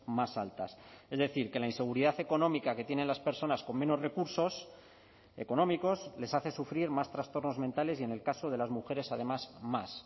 más altas es decir que la inseguridad económica que tienen las personas con menos recursos económicos les hace sufrir más trastornos mentales y en el caso de las mujeres además más